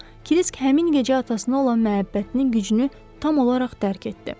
Krisk həmin gecə atasına olan məhəbbətinin gücünü tam olaraq dərk etdi.